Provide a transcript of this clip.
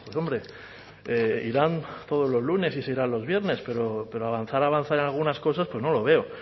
hombre irán todos los lunes y se irán los viernes pero avanzar avanzar en algunas cosas no lo veo